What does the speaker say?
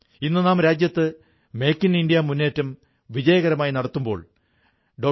ഇന്നു നാം രാജ്യത്ത് മേക് ഇൻ ഇന്ത്യ മുന്നേറ്റം വിജയകരമായി നടത്തുമ്പോൾ ഡോ